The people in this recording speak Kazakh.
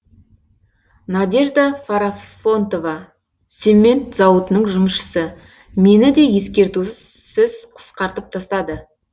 надежда фарафонтова цемент зауытының жұмысшысы мені де ескертусіз қысқартып тастады